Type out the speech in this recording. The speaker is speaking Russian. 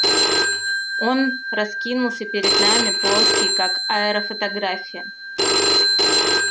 он раскинулся перед нами плоский как аэрофотография